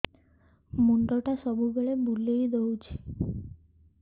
ମୁଣ୍ଡଟା ସବୁବେଳେ ବୁଲେଇ ଦଉଛି